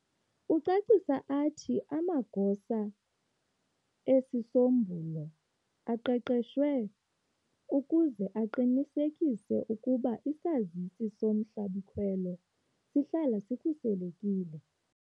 Ucacisa athi, amagosa esisombulo aqeqeshiwe ukuze aqinisekise ukuba isazisi somhlabi-khwelo sihlala sikhuselekile.